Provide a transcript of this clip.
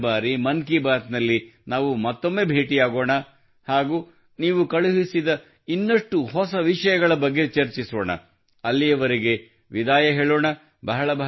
ಮುಂದಿನ ಬಾರಿ ಮನ್ ಕಿ ಬಾತ್ ನಲ್ಲಿ ನಾವು ಮತ್ತೊಮ್ಮೆ ಭೇಟಿಯಾಗೋಣ ಹಾಗೂ ನೀವು ಕಳುಹಿಸಿದ ಇನ್ನಷ್ಟು ಹೊಸ ವಿಷಯಗಳ ಬಗ್ಗೆ ಚರ್ಚಿಸೋಣ ಅಲ್ಲಿಯವರೆಗೆ ವಿದಾಯ ಹೇಳೋಣ